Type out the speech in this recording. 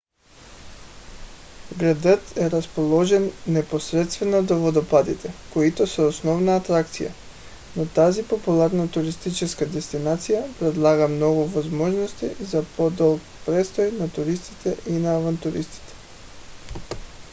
градът е разположен непосредствено до водопадите които са основната атракция но тази популярна туристическа дестинация предлага много възможности за по-дълъг престой и на туристите и на авантюристите